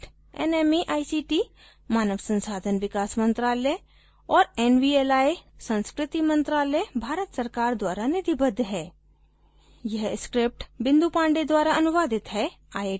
spoken tutorial project nmeict मानव संसाधन विकास मंत्रायल और nvli संस्कृति मंत्रालय भारत सरकार द्वारा निधिबद्ध है